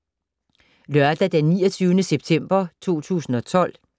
Lørdag d. 29. september 2012